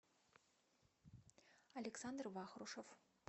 александр вахрушев